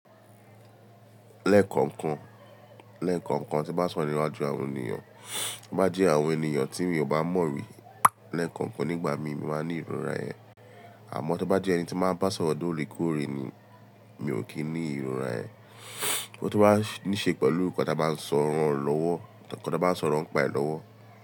Lẹ́ẹ̀kọ̀kan, lẹ́ẹ̀kọ̀kan tí bá sọ níwájú àwọn ènìyàn, tí ó bá jẹ́ àwọn ènìyàn tí mi ò bá mọ̀ rí, lẹ́ẹ̀kọ̀kan nígbà mi, mo máa ní ìrora ẹ. Àmọ́ tó bá jẹ́ ẹni tí máa ń bá sọ̀rọ̀ lóore kóòre ni, mi ò kí ní ìrora yẹn. Tó bá ní ṣe pẹ̀lú nǹkan tí a bá ń sọ̀rọ̀ ń pa ẹ̀ lọ́wọ́.